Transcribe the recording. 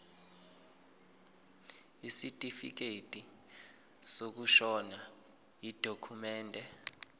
isitifikedi sokushona yidokhumende